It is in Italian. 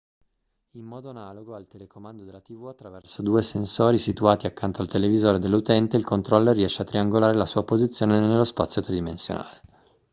in modo analogo al telecomando della tv attraverso due sensori situati accanto al televisore dell'utente il controller riesce a triangolare la sua posizione nello spazio tridimensionale